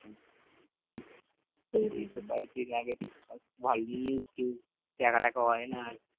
এই তো কয়দিন আগে দেখছিলাম ভালো news টিউজ দেখা টাকা হয় না আর